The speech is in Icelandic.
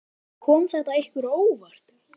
Helga: Kom þetta ykkur á óvart?